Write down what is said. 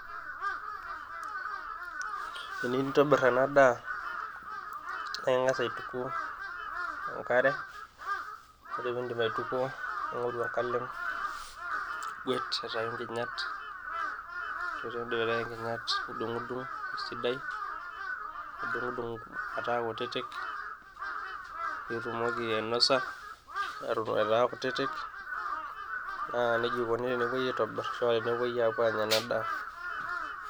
teniyieu nintobirr ena daa naa ing'as aituku tenkare ore piindip aitukuo ning'oru enkalem nigwet aitayu inkinyat ore piindip aitayu inkinyat nidung'udung esidai nidung'udung metaa kutitik piitumoki ainosa eton aitaa kutitik naa nejia ikoni tenepuoi aitobirr ashua tenepuoi aanya ena daa.